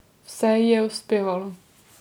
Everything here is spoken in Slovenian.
Vse ji je uspevalo.